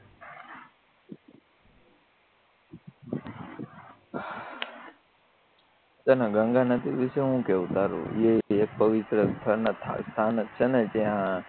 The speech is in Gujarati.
ગંગા નદી વિશે શું કેવું તારું ત્યાં